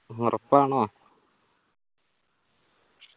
ഓറപ്പാണോ